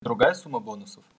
другая сумма бонусов